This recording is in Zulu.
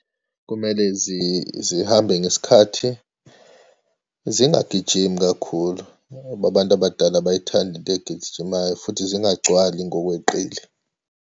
Kumele zihambe ngesikhathi, zingagijimi kakhulu, ngoba abantu abadala abayithandi into egijimayo, futhi zingagcwali ngokweqile.